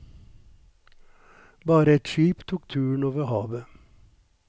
Bare et skip tok turen over havet.